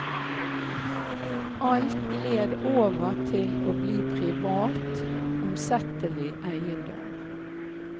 Alt gled over til å bli privat, omsettelig eiendom.